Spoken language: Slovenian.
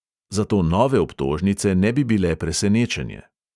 Zato nove obtožnice ne bi bile presenečenje.